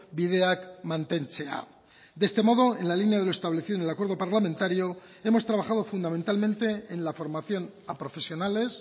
bideak mantentzea de este modo en la línea de lo establecido en el acuerdo parlamentario hemos trabajado fundamentalmente en la formación a profesionales